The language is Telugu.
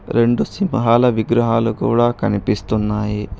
రెండు సింహాల విగ్రహాలు కూడా కనిపిస్తున్నాయి.